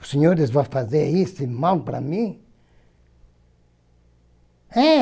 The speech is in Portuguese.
Os senhores vão fazer esse mal para mim? Eh